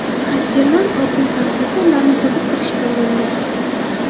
Xakerlar Oq uy kompyuterlarini buzib kirishga urindi.